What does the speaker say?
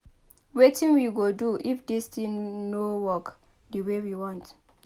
Wetin we go do if dis thing no work the way we want?